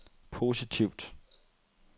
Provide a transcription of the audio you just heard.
positivt